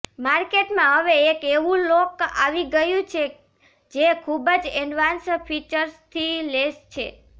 માર્કેટમાં હવે એક એવું લોક આવી ગયું છે જે ખૂબ જ એડવાન્સ ફિચર્સથી લેસ છે